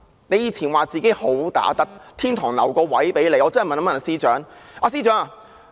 她以前說自己"好打得"，天堂留了一個位置給她。